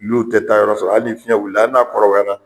N' o tɛ taayɔrɔ sɔrɔ hali ni fiɲɛ wilila ali n'a kɔrɔbaya la.